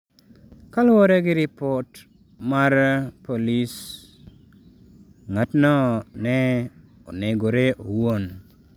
Kaluwore gi ripot mar jopolisi, ng’atno ne onegore owuon.